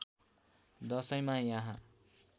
दशैँमा यहाँ